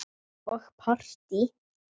Og partí.